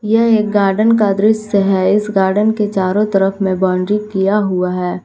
यह एक गार्डन का दृश्य है इस गार्डन के चारों तरफ में बाउंड्री किया हुआ है।